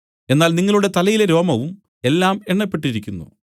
എന്നാൽ നിങ്ങളുടെ തലയിലെ രോമവും എല്ലാം എണ്ണപ്പെട്ടിരിക്കുന്നു